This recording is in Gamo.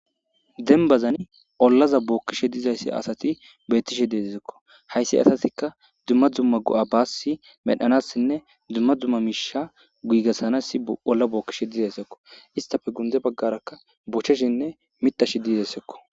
denbazani ollaza bookkishe dizayssi asati beettishe deezizekko hayssi asatikka dumma dzumma go7a baassi medhanassinne dumma dzumma miisha guigassanassi olla bookkishe dizayssekko istafe gunde baggaraka bocheshinne mitash diizesekko